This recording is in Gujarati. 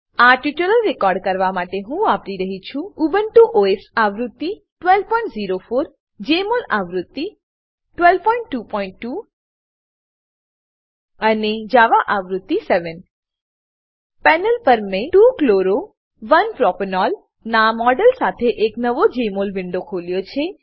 આ ટ્યુટોરીયલ રેકોર્ડ કરવા માટે હું વાપરી રહ્યી છું ઉબુન્ટુ ઓએસ આવૃત્તિ 1204 જમોલ આવૃત્તિ 1222 અને જાવા આવૃત્તિ 7 પેનલ પર મેં 2 chloro 1 પ્રોપેનોલ નાં મોડેલ સાથે એક નવો જેમોલ વિન્ડો ખોલ્યો છે